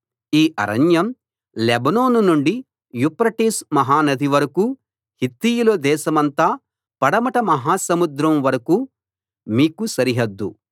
ఈ అరణ్యం లెబానోను నుండి యూఫ్రటీసు మహానది వరకూ హిత్తీయుల దేశమంతా పడమట మహాసముద్రం వరకూ మీకు సరిహద్దు